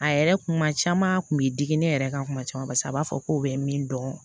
A yɛrɛ kun kuma caman a kun bi digi ne yɛrɛ kan kuma caman paseke a b'a fɔ ko bɛ min dɔn